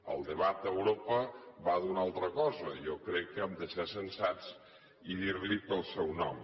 el debat d’europa va d’una altra cosa jo crec que hem de ser sensats i dir li pel seu nom